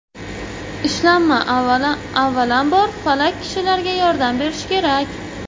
Ishlanma, avvalambor, falaj kishilarga yordam berishi kerak.